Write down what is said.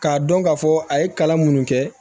K'a dɔn ka fɔ a ye kalan minnu kɛ